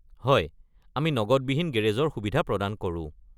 হয়, আমি নগদবিহীন গেৰেজৰ সুবিধা প্ৰদান কৰো।